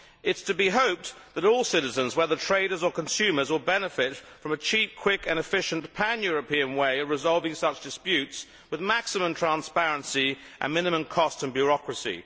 It is to be hoped that all citizens, whether traders or consumers, will benefit from a cheap, quick and efficient pan European way of resolving such disputes with maximum transparency and minimum cost and bureaucracy.